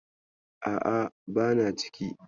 A'a, bana ciki.